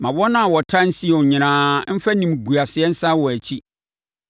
Ma wɔn a wɔtan Sion nyinaa mfa animguaseɛ nsane wɔn akyi.